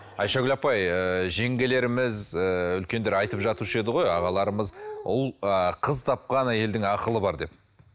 айшагүл апай ыыы жеңгелеріміз ііі үлкендер айтып жатушы еді ғой ағаларымыз ұл ы қыз тапқан әйелдің ақылы бар деп